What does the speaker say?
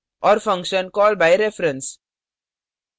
और function call by reference